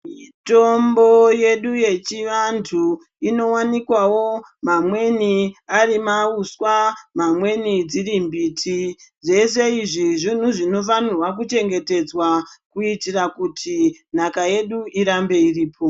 Mitombo yedi yechivantu inowanikwawo mamweni arimauswa mamweni dzirimbiti dzese izvi zvinhu zvinofanira kuchengetedzwa kuitira kuti nhaka yedu irambe iripo.